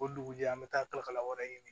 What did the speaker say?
O dugujɛ an bɛ taa kalakala wɛrɛ ɲini